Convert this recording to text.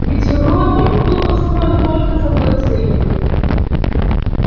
ведь робби был построен только с одной целью